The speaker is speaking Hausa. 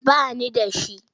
Ba ni da shi.